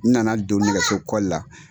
N na na don nɛgɛso la.